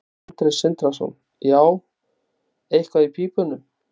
Sindri Sindrason: Já, eitthvað í pípunum?